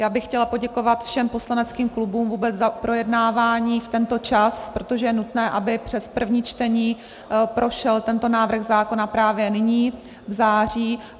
Já bych chtěla poděkovat všem poslaneckým klubům vůbec za projednávání v tento čas, protože je nutné, aby přes první čtení prošel tento návrh zákona právě nyní v září.